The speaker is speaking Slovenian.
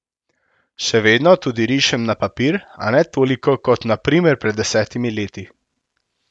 Še vedno tudi rišem na papir, a ne toliko kot na primer pred desetimi leti.